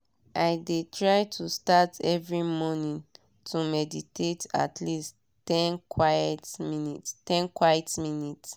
i de try to start every morning to meditate at least ten quite minutes.